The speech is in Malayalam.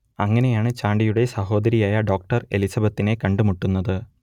അങ്ങനെയാണ് ചാണ്ടിയുടെ സഹോദരിയായ ഡോക്ടർ എലിസബത്തിനെ കണ്ടു മുട്ടുന്നത്